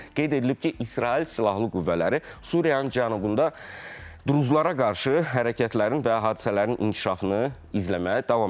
Qeyd edilib ki, İsrail silahlı qüvvələri Suriyanın cənubunda druzlara qarşı hərəkətlərin və hadisələrin inkişafını izləməyə davam edir.